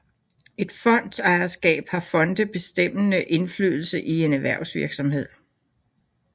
Ved fondsejerskab har fonde bestemmende indflydelse i en erhvervsvirksomhed